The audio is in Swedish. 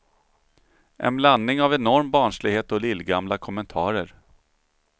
En blandning av enorm barnslighet och lillgamla kommentarer.